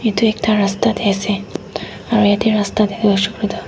etu ekta rasta te ase aru ete rasta te toh tu.